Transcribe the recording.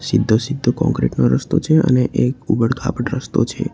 સીધો સીધો કોંક્રિટ નો રસ્તો છે અને એક ઉબડ ખાબડ રસ્તો છે.